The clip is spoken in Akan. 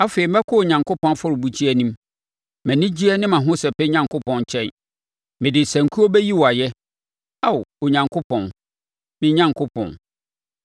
Afei, mɛkɔ Onyankopɔn afɔrebukyia anim mʼanigyeɛ ne mʼahosɛpɛ Onyankopɔn nkyɛn. Mede sankuo bɛyi wo ayɛ, Ao Onyankopɔn, me Onyankopɔn.